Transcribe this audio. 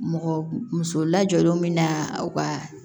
Mɔgɔ muso lajɔlenw bɛ na u ka